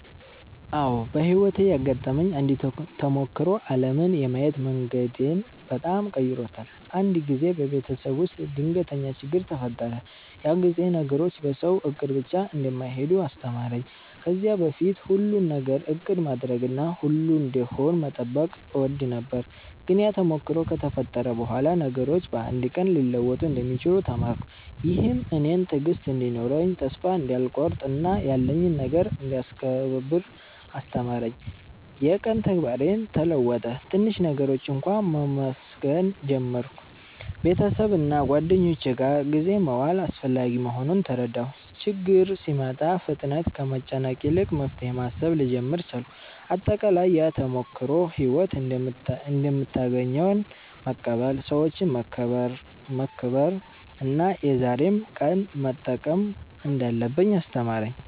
አዎ፣ በሕይወቴ ያጋጠመኝ አንድ ተሞክሮ ዓለምን የማየት መንገዴን በጣም ቀይሮታል። አንድ ጊዜ በቤተሰብ ውስጥ ድንገተኛ ችግኝ ተፈጠረ፤ ያ ጊዜ ነገሮች በሰው እቅድ ብቻ እንደማይሄዱ አስተማረኝ። ከዚያ በፊት ሁሉን ነገር እቅድ ማድረግና ሁሉ እንዲሄድ መጠበቅ እወድ ነበር፤ ግን ያ ተሞክሮ ከተፈጠረ በኋላ ነገሮች በአንድ ቀን ሊለወጡ እንደሚችሉ ተማርኩ። ይህም እኔን ትዕግሥት እንዲኖረኝ፣ ተስፋ እንዳልቆርጥ እና ያለኝን ነገር እንዳስከብር አስተማረኝ። የቀን ተግባሬም ተለወጠ፤ ትንሽ ነገሮችን እንኳ መመስገን ጀመርሁ። ቤተሰብና ጓደኞች ጋር ጊዜ መዋል አስፈላጊ መሆኑን ተረዳሁ። ችግኝ ሲመጣ ፍጥነት ከመጨነቅ ይልቅ መፍትሄ ማሰብ ልጀምር ቻልኩ። አጠቃላይ፣ ያ ተሞክሮ ሕይወት እንደምታገኘን መቀበል፣ ሰዎችን መከብር እና የዛሬን ቀን መጠቀም እንዳለብኝ አስተማረኝ።